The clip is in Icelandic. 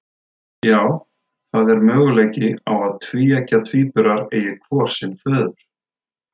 Já, það er möguleiki á að tvíeggja tvíburar eigi hvor sinn föður.